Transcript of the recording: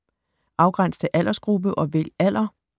Afgræns til aldersgruppe og vælg alder